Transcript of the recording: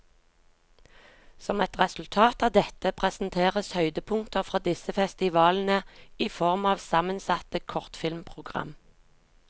Som et resultat av dette, presenteres høydepunkter fra disse festivalene i form av sammensatte kortfilmprogram.